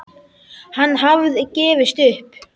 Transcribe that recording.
Hann hafði gefist upp.